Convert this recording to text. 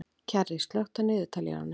Kjarri, slökktu á niðurteljaranum.